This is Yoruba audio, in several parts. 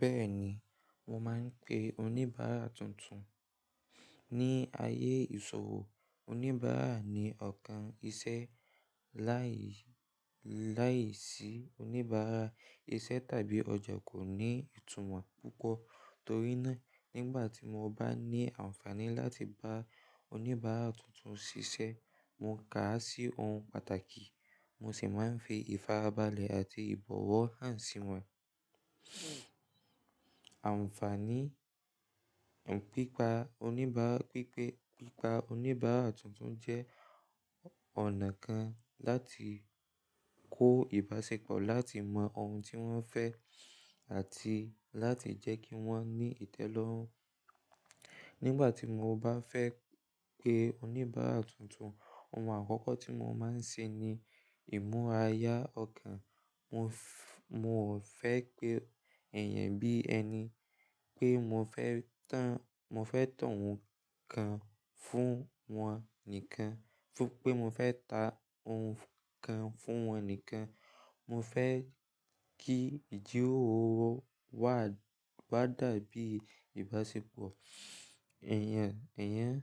Bẹ́ẹ̀ni, mo máa ń pe oníbàárà tuntun. Ni ayé ìṣòwò, oníbàárà ni ọ̀kan iṣẹ́. Lái, láìsí oníbàárà, iṣẹ́ tàbí ọjà kò ní ìtumọ̀ púpọ̀. Torí náà, nígbà tí mo bá ní àǹfààní láti bá oníbàárà tuntun ṣiṣẹ́, mo ká à sí ohun pàtàkì, mo sì máa ń fi ìfarabalẹ̀ àti ìbọ̀wọ̀ hàn sí wọ́n. Àǹfààní, pípá oníbàá, pípé, pípa oníbàárà tuntun jẹ́ ọ̀nà kan láti kó ìbáṣepọ̀, láti mọ ohun tí wọ́n fẹ́ àti láti jẹ́ kí wọ́n ní ìtẹ́lọ́rùn. Nígbà tí mo bá fẹ́ pe oníbàárà tuntun, ohun àkọ́kọ́ tí mo máa ń ṣe ni ìmúra ayá ọkàn. Mo fẹ́, mo ò fẹ́ pe èèyàn bí ẹni pé mo fẹ́ tán, mo fẹ́ tàn wọ́n kan fún wọn nìkan, pé mo fẹ́ ta ohun kan fún wọn nìkan. Mo fẹ́ kí ìjíròrò wà, wa dàbí ìbáṣepọ̀ èèyàn, èèyàn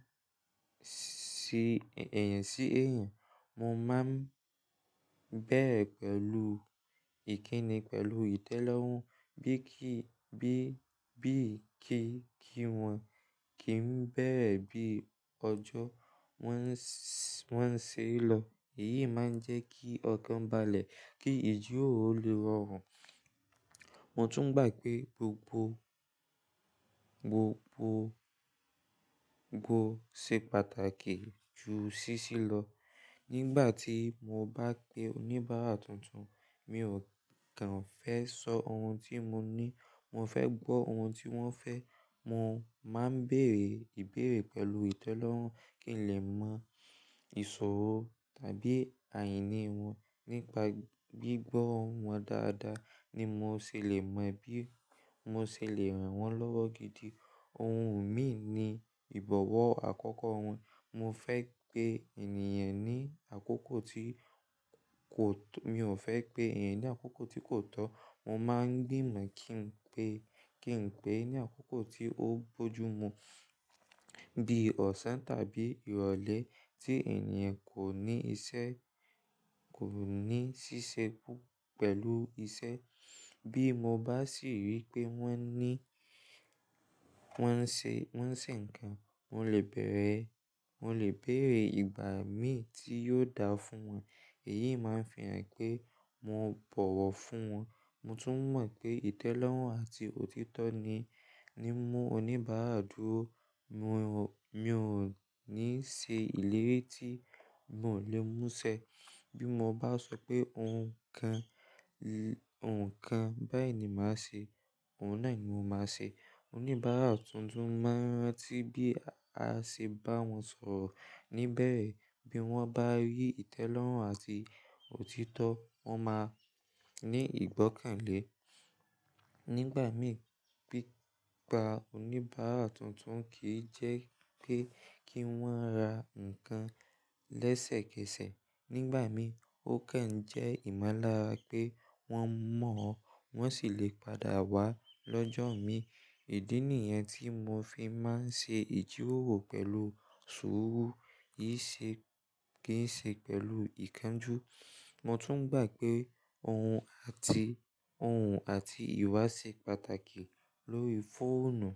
si, èèyàn sí èèyàn. Mo máa ń bẹ̀rẹ̀ pẹ̀lú ìkíni pẹ̀lú ìtẹ́lọ́rùn, bí kí, bí, bí kí n kí wọn, kí ń bẹ̀rẹ̀ bí ọjọ́ wọn ṣe ń lọ. Èyí máa ń jẹ́ kí ọkàn balẹ̀, kí ìjíròrò lè rọrùn. Mo tún gbà pé gbogbo, gbogbo, gbogbo ṣe pàtàkì ju ṣíṣí lọ. Nígbà tí mo bá pe oníbàárà tuntun, mi ò kan fẹ́ sọ ohun tí mo ní, mo fẹ́ gbọ́ ohun tí wọ́n fẹ́. Mo máa ń bèèrè ìbéèrè pẹ̀lú ìtẹ́lọ́rùn kí n lè mọ ìṣòro tàbí àìní wọn. Nípa gbígbọ́ ohùn wọn dáadáa ni mo ṣe lè mọ bí mo ṣe lè ràn wọ́n lọ́wọ́ gidi. Ohun míì ni ìbọ̀wọ́ àkọ́kọ́ wọn. Mo fẹ́ pe ènìyàn ní àkókò tí kò tó, mi ò fẹ́ pé èèyàn ní àkókò tí kò tọ́. Mo máa ń gbìmọ̀ kí n pé, kí n pè é ní àkókò tí ó bójú mu. Bí ọ̀sán tàbí ìrọ̀lẹ́ tí ènìyàn kò ní iṣẹ́, kò ní ṣíṣe pẹ̀lú iṣẹ́. Bí mo bá sì rí pé wọ́n ní, wọ́n ń ṣe, wọ́n ń ṣe nǹkan, mo lè bẹ̀rẹ̀, mo lè béèrè ìgbà míì tí yóò dáa fún wọn. Èyí máa ń fi hàn pé mo bọ̀wọ̀ fún wọn. Mo tún mọ̀ wípé ìtẹ́lọ́rùn àti òtítọ́ ni, ní ń mú oníbàárà dúró. Mo ò, mi ò ní ṣe ìlérí tí mo ò le mú ṣẹ. Bí mo bá sọ pé ohun kan, ohùn kan báyìí ni màá ṣe, ohun náà ni mo máa ṣe. Oníbàárà tuntun máa rántí bí a ṣe bá wọn sọ̀rọ̀. Níbẹ̀rẹ̀, bí wọ́n bá rí ìtẹ́lọ́rùn àti òtítọ́, wọ́n máa ní ìgbọ́kànlé. Nígbà míì pípá oníbàárà tuntun kì í jẹ́ pé kí wọ́n ra nǹkan lẹ́sẹ̀kẹsẹ̀. Nígbà míì ó kàn ń jẹ́ ìmọ̀lára pé wọ́n mọ̀ ọ́, wọ́n sì lè padà wá lọ́jọ́ míì. Ìdí nìyẹn tí mo fi máa ń ṣe ìjíròrò pẹ̀lú sùúrù, kìí ṣe, kìí ṣe pẹ̀lú ìkánjú. Mo tún gbà pé ohun àti, ohùn àti ìwà ṣe pàtàkì lórí fóònù.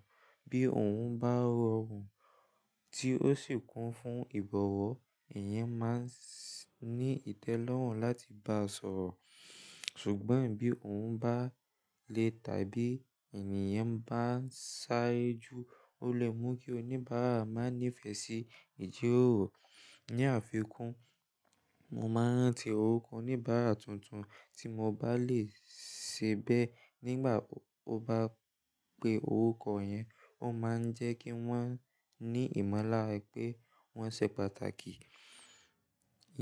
Bí ohùn bá rọrùn tí ó sì kún fún ìbọ̀wọ́, ìyẹn máa ń ní ìtẹ́lọ́rùn láti bá ọ sọ̀rọ̀. Ṣùgbọ́n bí ohùn bá le tàbí ènìyàn bá ń sáré jù, ó lè mú kí oníbàárà má nífẹ̀ẹ́ sí ìjíròrò. Ní àfikún, mo máa ń rántí orúkọ oníbàárà tuntun tí mo bá lè ṣe bẹ́ẹ̀ nígbà ó bá pe orúkọ yẹn. Ó máa ń jẹ́ kí wọ́n ní ìmọ̀lára pé wọ́n ṣe pàtàkì.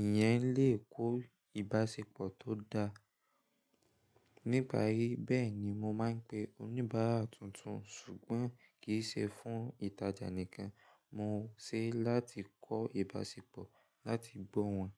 Ìyẹn lè kó ìbáṣepọ̀ tó dáa. Nípa èyí, bẹ́ẹ̀ni mo máa ń pe oníbàárà tuntun. Ṣùgbọ́n kì í ṣe fún ìtajà nìkan, mo ṣeé láti kọ́ ìbáṣepọ̀, láti gbọ́ wọn.